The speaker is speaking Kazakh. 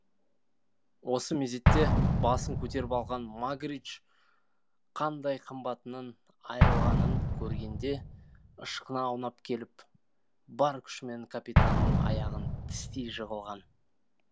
осы мезетте басын көтеріп алған магридж қандай қымбатынан айырылғанын көргенде ышқына аунап келіп бар күшімен капитанның аяғын тістей жығылған